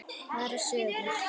Bara sögur.